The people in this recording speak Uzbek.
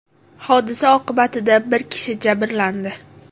Hodisa oqibatida bir kishi jabrlandi.